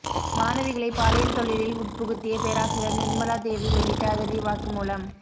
மாணவிகளை பாலியல் தொழிலில் உட்புகுத்திய பேராசிரியர் நிர்மலா தேவி வெளியிட்ட அதிரடி வாக்குமூலம்